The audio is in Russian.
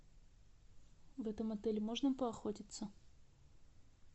в этом отеле можно поохотиться